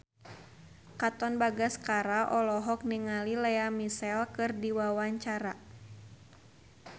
Katon Bagaskara olohok ningali Lea Michele keur diwawancara